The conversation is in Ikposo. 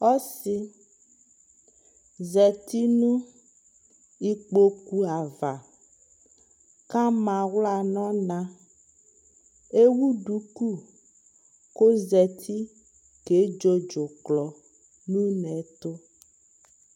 Ɔsi zati nʋ ikpokʋ ava kʋ ama aɣla nʋ ɔna Ewu duku kʋ ozati kedzo dzʋklɔ nʋ une ɛtʋ